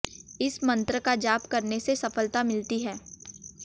इस मंत्र का जाप करने से सफलता मिलती है